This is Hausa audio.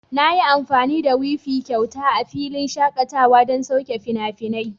Na yi amfani da wifi kyauta a filin shakatawa don saukar da fina-finai.